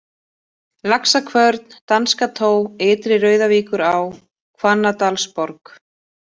Laxakvörn, Danskató, Ytri-Rauðavíkurá, Hvannadalsborg